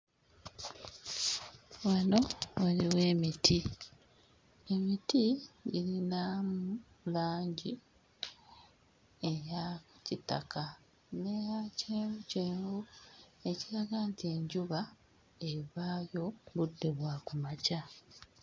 Wano waliwo emiti, emiti girinamu langi eya kitaka n'eya kyenvu kyenvu ekiraga nti enjuba evaayo budde bwa kumakya.